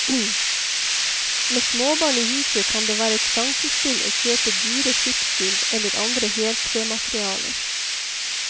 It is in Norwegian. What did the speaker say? Med småbarn i huset kan det være et sjansespill å kjøpe dyre skipsgulv eller andre heltrematerialer.